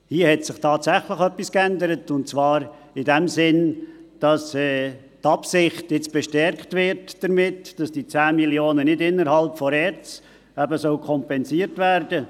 Hier hat sich tatsächlich etwas geändert, und zwar ist die Absicht jetzt bestärkt worden, diese 10 Mio. Franken nicht innerhalb der ERZ zu kompensieren.